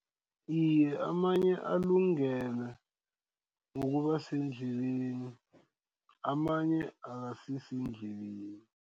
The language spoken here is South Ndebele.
Iye, amanye alungele ukuba sendleleni amanye akasisendleleni.